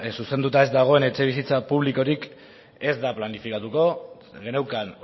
zuzenduta ez dagoen etxebizitza publikorik ez da planifikatuko geneukan